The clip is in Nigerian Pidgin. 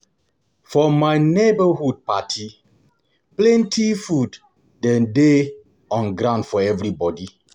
For my neborhood party, plenty food dey dey on ground for everybodi.